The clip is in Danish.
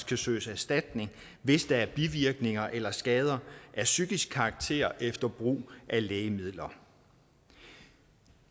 kan søges erstatning hvis der er bivirkninger eller skader af psykisk karakter efter brug af lægemidler